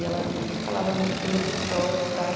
E ela sempre me falava muito bem do Quixote e tal.